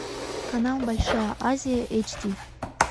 канал большая азия эйч ди